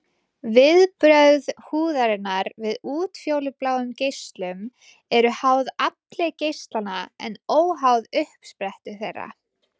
Viðbrögð húðarinnar við útfjólubláum geislum eru háð afli geislanna en óháð uppsprettu þeirra.